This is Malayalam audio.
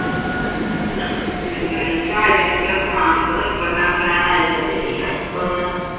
ഉം ഈ സാഹചര്യത്തിൽ ഒക്കെ mask നിർബന്ധം ആക്കലാണ് നല്ലത് എല്ലാവർക്കും ഒന്ന്